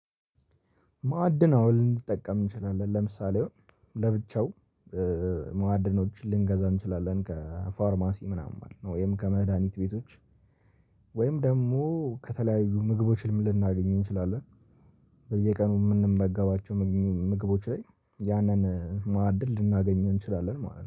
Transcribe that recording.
ማዕድን አዎ ልንጠቀም እንችላለን ለምሳሌ ለብቻው ማዕድኖችን ልንገዛ እንችላለን ከፋርማሲ ምናምን ወይም ከመድሃኒት ቤቶች ወይም ደግሞ ከተለያዩ ምግቦችም ልናገኝ እንችላለን። በየቀኑ የምንመገባቸው ምግቦች ላይ ያንን ማዕድን ልናገኘው እንችላለን ማለት ነው